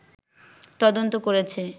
তদন্ত করেছে